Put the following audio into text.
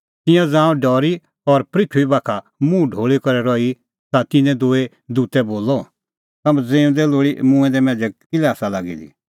तिंयां ज़ांऊं डरी और पृथूई बाखा मुंह ढोल़ी करै रही ता तिन्नैं दूई दूतै बोलअ तम्हैं ज़िऊंदै लोल़ी मूंऐं दै मांझ़ै किल्है आसा लागी दी